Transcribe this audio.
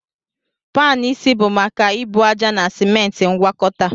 Panu isi bụ maka ebu ájá na simenti ngwakọta